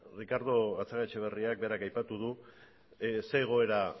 ricardo gatzagaetxebarriak berak aipatu du zein egoera